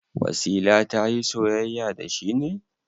Wasila ta yi soyayya da shi ne?